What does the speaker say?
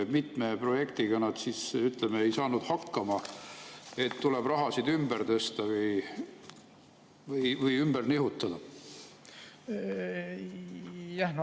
Mitme projektiga ei ole saadud hakkama, nii et tuleb raha ümber tõsta või edasi nihutada?